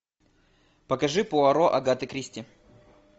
покажи пуаро агаты кристи